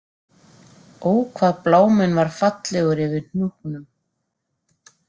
Ó hvað bláminn var fallegur yfir Hnúknum